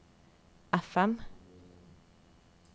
FM